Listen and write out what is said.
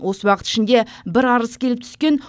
осы уақыт ішінде бір арыз келіп түскен